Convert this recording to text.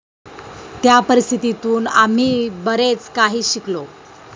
त्या परिस्थितीतून आम्ही बरेच काही शिकलो.